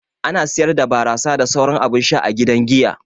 Ana siyar da barasa da sauran abun sha a gidan giya.